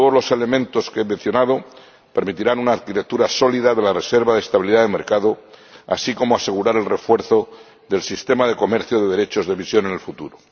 Todos los elementos que he mencionado permitirán una arquitectura sólida de la reserva de estabilidad del mercado, así como asegurar el refuerzo del Régimen de Comercio de Derechos de Emisión en el futuro.